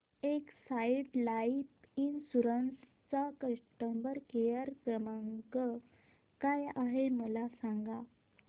Exide life insurance चा customer care क्रमांक काय आहे मला सांगा